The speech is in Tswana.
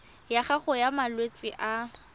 ya gago ya malwetse a